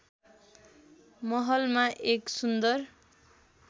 महलमा एक सुन्दर